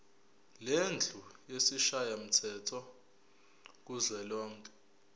lendlu yesishayamthetho kuzwelonke